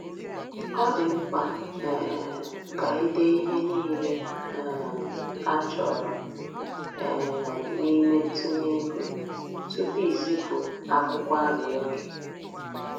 Ọ dị mkpa um ka i dee ihe niile um a chọrọ um n’ime ntụnye ego tupu i zipụ akwụkwọ arịrịọ gị.